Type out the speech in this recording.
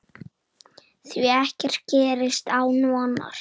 Því ekkert gerist án vonar.